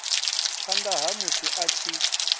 phanda ha musi a tshi